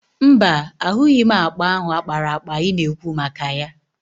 Mba, ahụghị m akpa ahụ a kpara akpa ị na-ekwu maka ya.